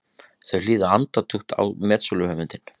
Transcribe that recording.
Þau hlýða andaktug á metsöluhöfundinn.